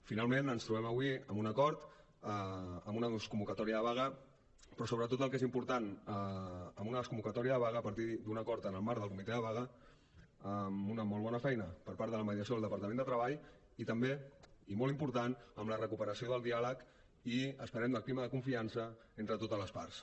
finalment ens trobem avui amb un acord amb una desconvocatòria de vaga però sobretot el que és important amb una desconvocatòria de vaga a partir d’un acord en el marc del comitè de vaga amb una molt bona feina per part de la mediació del departament de treball i també i molt important amb la recuperació del diàleg i esperem del clima de confiança entre totes les parts